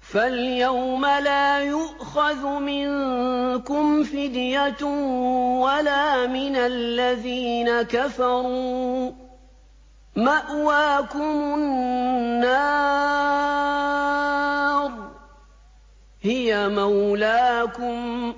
فَالْيَوْمَ لَا يُؤْخَذُ مِنكُمْ فِدْيَةٌ وَلَا مِنَ الَّذِينَ كَفَرُوا ۚ مَأْوَاكُمُ النَّارُ ۖ هِيَ مَوْلَاكُمْ ۖ